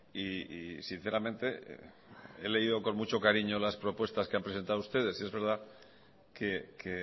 y sinceramente he leído con mucho cariño las propuestas que han presentado ustedes es verdad que